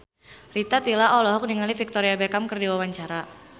Rita Tila olohok ningali Victoria Beckham keur diwawancara